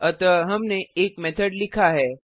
अतः हमने एक मेथड लिखा है